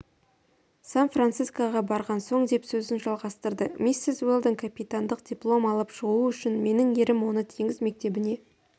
сан-францискоға барған соң деп сөзін жалғастырды миссис уэлдон капитандық диплом алып шығуы үшін менің ерім оны теңіз мектебіне